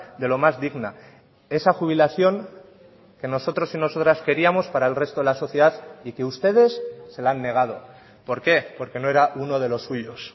de lo más digna esa jubilación que nosotros y nosotras queríamos para el resto de la sociedad y que ustedes se la han negado por qué porque no era uno de los suyos